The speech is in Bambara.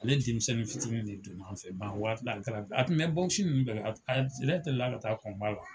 Ale denmisɛnnin fitinin de tun b'an fɛ a waati la a be taga, a tun bɛ nunnu bɛɛ la , a yɛrɛ deli la ka taa la.